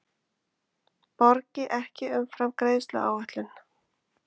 Borgi ekki umfram greiðsluáætlun